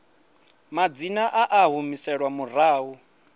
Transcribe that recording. madzina a a humiselwa murahu